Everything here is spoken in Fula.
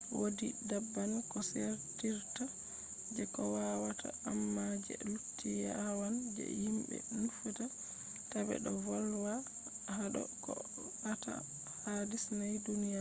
wodi daban ko sendirta je kowawata amma je lutti yawan je himɓe nufata tabe do volwa hado koh fe’ata ha disney duniyaru